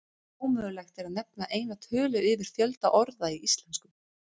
Ómögulegt er að nefna eina tölu yfir fjölda orða í íslensku.